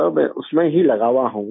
میں اس میں ہی لگا ہوا ہوں